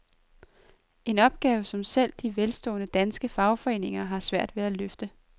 En opgave, som selv de velstående, danske fagforeninger har svært ved at løfte.